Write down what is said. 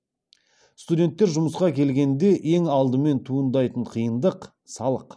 студенттер жұмысқа келгенде ең адымен туындайтын қиындық салық